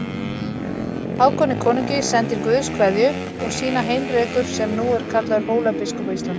Hákoni konungi sendir Guðs kveðju og sína Heinrekur sem nú er kallaður Hólabiskup á Íslandi.